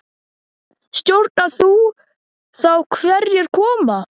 Stjórnar þú þá hverjir koma?